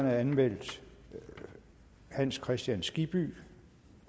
er anmeldt hans kristian skibby